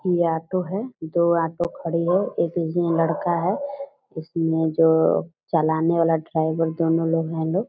या ऑटो है दो ऑटो खड़ी है एक इसमें लड़का है इसमें जो चलाने वाला ड्राइवर दोनों लोग हैं लोग --